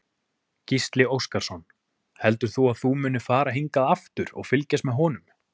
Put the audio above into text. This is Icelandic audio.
Gísli Óskarsson: Heldur þú að þú munir fara hingað aftur og fylgjast með honum?